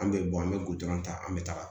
An bɛ bɔn an bɛ gudɔrɔn ta an bɛ taga